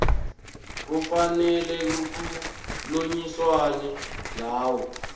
kufanele kukhulunyiswane ngawo